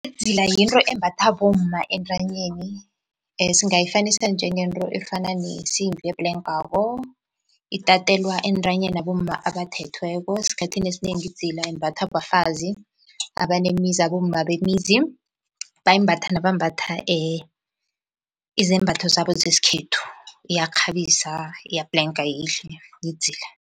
Idzila yinto embathwa bomma entanyeni singayifanisa njengento efana nesimbi ebhlenkako itatelwa entanyeni abomma abathethweko. Esikhathini esinengi idzila imbathwa bafazi abanemizi abomma bemizi, bayimbatha nabambatha izembatho zabo zesikhethu, iyakghabisa iyabhlenka yihle yidzila.